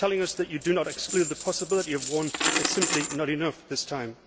Telling us that you do not exclude the possibility of one is simply not enough this time.